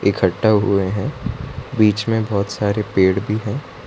इकट्ठा हुए है बीच में बहोत सारे पेड़ भी हैं।